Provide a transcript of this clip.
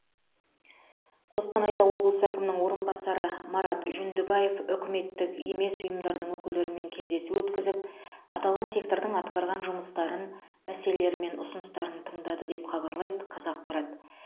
қостанайда облыс әкімінің орынбасары марат жүндібаев үкіметтік емес ұйымдардың өкілдерімен кездесу өткізіп аталған сектордың атқарған жұмыстарын мәселелері мен ұсыныстарын тыңдады деп хабарлайды қазақпарат